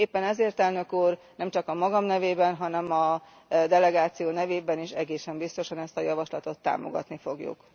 Éppen ezért, Elnök Úr, nemcsak a magam nevében, hanem a delegáció nevében is egészen biztosan ezt a javaslatot támogatni fogjuk.